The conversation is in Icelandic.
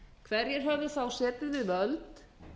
hverjir höfðu þá setið við völd